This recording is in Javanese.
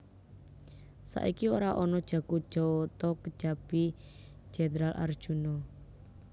Saiki ora ana jago jawata kejabi Jendral Arjuna